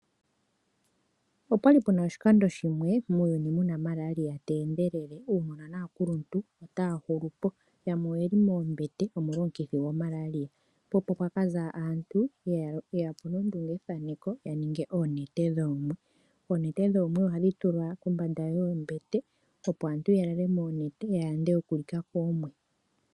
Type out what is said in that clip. Opwali puna oshikando shimwe muuyuni muna Maralia tendelele. Uunona naakuluntu otaya hulupo yamwe oyeli moombete omolwa omukithi goMaralia po opo pwa kaza aantu yeyapo nondungethaneko ya ninge oonete dhoomwe. Oonete dhoomwe ohadhi tulwa kombanda yoombete opo aantu ya lale moonete ya yande okulika koomwe.